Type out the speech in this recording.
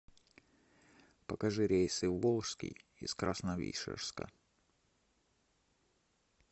покажи рейсы в волжский из красновишерска